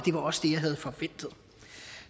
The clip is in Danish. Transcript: var også det jeg havde forventet